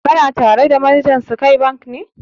Kana tare da manajan Sky Bank ne?